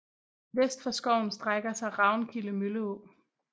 Vest for skoven strækker sig Ravnkilde Mølleå